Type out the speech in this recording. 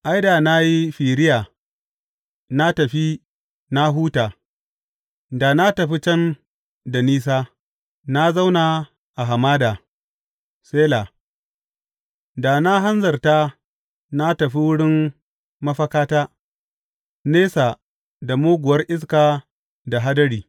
Ai, da na yi firiya na tafi na huta, da na tafi can da nisa na zauna a hamada; Sela da na hanzarta na tafi wurin mafakata, nesa da muguwar iska da hadiri.